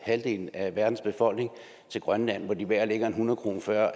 halvdelen af verdens befolkning til grønland hvor de hver lægger en hundredkroneseddel